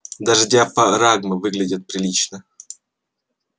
даже диафрагмы выглядят прилично